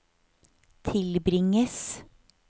tilbringes